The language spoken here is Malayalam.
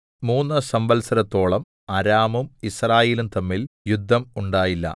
മൂന്ന് സംവൽസരത്തോളം അരാമും യിസ്രായേലും തമ്മിൽ യുദ്ധം ഉണ്ടായില്ല